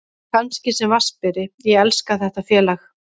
Kannski sem vatnsberi, ég elska þetta félag.